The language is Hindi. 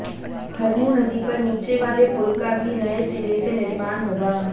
हरमू नदी पर नीचेवाले पुल का भी नये सिरे से निर्माण होगा